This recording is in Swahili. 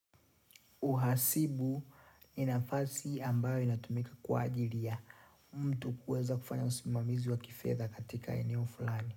Uhasibu ni nafasi ambayo inatumika kwa ajiri ya mtu kueza kufanya usimamizi wa kifedha katika eneo fulani.